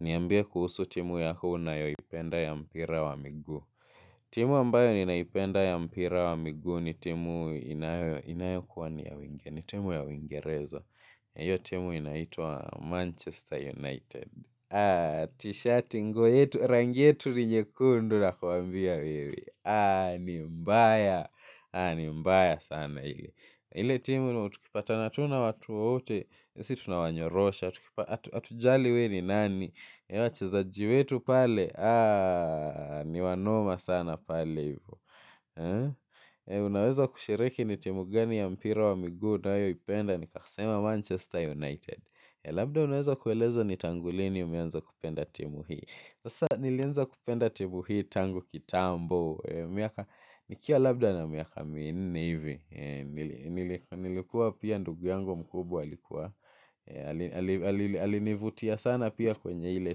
Niambie kuhusu timu yako unayoipenda ya mpira wa miguu. Timu ambayo ninaipenda ya mpira wa migu ni timu inayokuwa ni ya wengi. Ni timu ya uingereza. Na hiyo timu inaitwa Manchester United. Haa, tishati nguo yetu, rangi yetu ni nyekundu nakuambia wewe. Haa, ni mbaya. Haa, ni mbaya sana ile. Ile timu, tukipatana tu na watu wote, si tunawanyorosha, hatujali we ni nani wachezaji wetu pale haaa. Ni wanoma sana pale. Unaweza kushiriki ni timu gani ya mpira wa miguu unayoipenda nikasema Manchester United. Labda unaweza kueleza ni tangu lini umeanza kupenda timu hii. Sasa nilianza kupenda timu hii tangu kitambo. Nikiwa labda na miaka minne hivi nilikuwa pia ndugu yangu mkubwa alikuwa alinivutia sana pia kwenye ile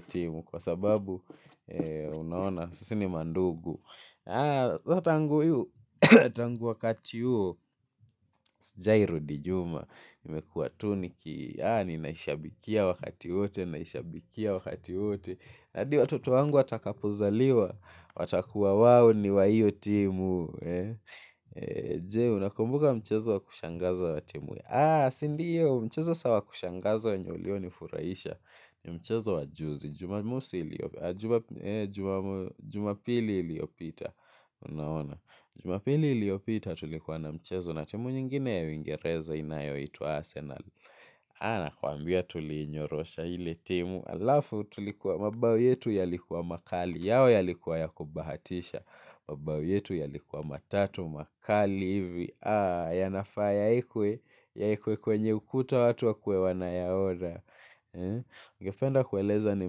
timu kwa sababu unaona sisi ni mandugu saa tangu hiyo, tangu wakati huo sijawai rudi nyuuma nimekuwa tu niki, aa ninaishabikia wakati wote. Naishabikia wakati wote. Na hadi watoto wangu watakapozaliwa. Watakuwa wawo ni wa hiyo timu. Je, unakumbuka mchezo wa kushangaza wa timu. Haa, sindiyo, mchezo saa wa kushangaza wenye ulio nifuraisha. Ni mchezo wa juzi Jumamosi iliopita jumapili iliopita. Unaona Jumapili iliopita tulikuwa na mchezo. Na timu nyingine ya uingereza inayoitwa Arsenal. Haa, nakwambia tulinyorosha ile timu alafu tulikuwa mabao yetu yalikuwa makali. Yao yalikuwa ya kubahatisha. Mabao yetu yalikuwa matatu makali hivi. Haa, yanafaa yaekwe, yaekwe kwenye ukuta watu wakuwe wanayaona. Ungependa kueleza ni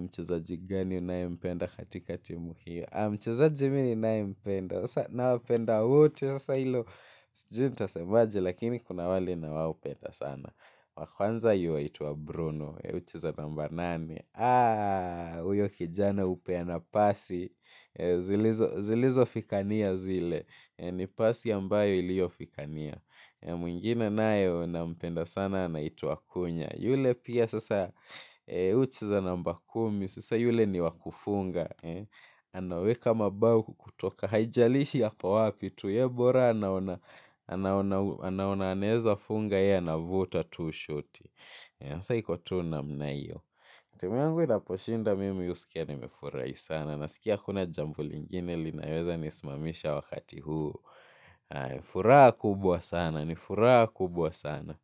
mchezaji gani unayempenda katika timu hio. Haa, mchezaji mi ninayempenda. Sasa nawapenda wote, sasa hilo sijui nitasemaje lakini kuna wale nawapenda sana. Wa kwanza yuwaitwa Bruno, hucheza namba nane. Haa, huyo kijana hupeana pasi, zilizo fikania zile. Ni pasi ambayo iliyo fikania. Mwingine naye nampenda sana anaitwa cuhna. Yule pia sasa hucheza namba kumi. Sasa yule ni wa kufunga. Anaweka mabao kutoka haijalishi ako wapi tu. Ye bora anaona anaona anaeza funga ye anavuta tu shoti hasa iko tu namna hio. Timu yangu inaposhinda mimi husikia nimefurahi sana. Nasikia hakuna jambo lingine linaweza nisimamisha wakati huu. Furaha kubwa sana, ni furaha kubwa sana.